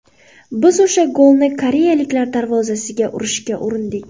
Biz o‘sha golni koreyaliklar darvozasiga urishga urindik.